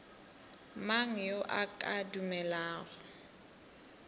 mang yo a ka dumelago